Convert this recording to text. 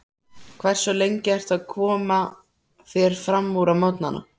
Hversu lengi ertu að koma þér framúr á morgnanna?